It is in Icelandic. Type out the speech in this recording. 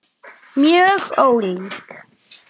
Fæðið allt of gott!